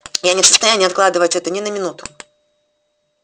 я не в состоянии откладывать это ни на минуту